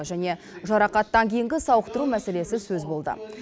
және жарақаттан кейінгі сауықтыру мәселесі сөз болды